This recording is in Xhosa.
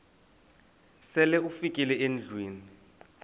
sele ufikile endlwini